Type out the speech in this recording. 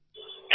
হ্যাঁ হ্যাঁ